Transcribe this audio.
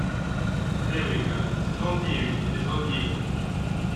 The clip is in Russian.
эврика сезон девять эпизод десять